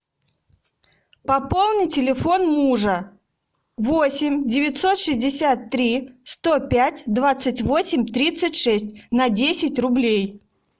пополни телефон мужа восемь девятьсот шестьдесят три сто пять двадцать восемь тридцать шесть на десять рублей